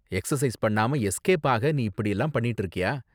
Exercise பண்ணாம escape ஆக நீ இப்படிலாம் பண்ணிட்டு இருக்கியா?